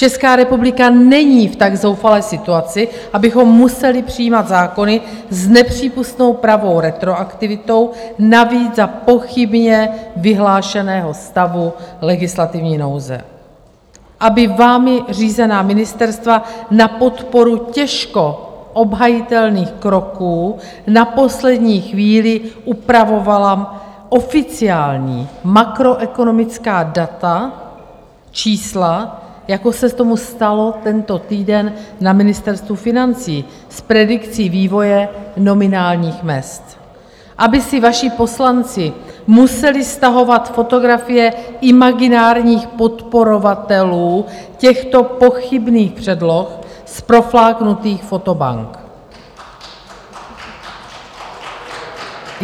Česká republika není v tak zoufalé situaci, abychom museli přijímat zákony s nepřípustnou pravou retroaktivitou, navíc za pochybně vyhlášeného stavu legislativní nouze, aby vámi řízená ministerstva na podporu těžko obhajitelných kroků na poslední chvíli upravovala oficiální makroekonomická data, čísla, jako se tomu stalo tento týden na Ministerstvu financí s predikcí vývoje nominálních mezd, aby si vaši poslanci museli stahovat fotografie imaginárních podporovatelů těchto pochybných předloh z profláknutých fotobank.